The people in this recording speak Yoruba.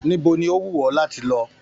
Níbo ní o wù ọ láti lọ?